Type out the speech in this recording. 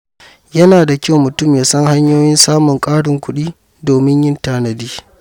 Yana da kyau mutum ya san hanyoyin samun ƙarin kuɗi domin yin tanadi.